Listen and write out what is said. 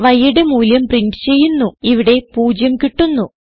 yയുടെ മൂല്യം പ്രിന്റ് ചെയ്യുന്നു ഇവിടെ 0 കിട്ടുന്നു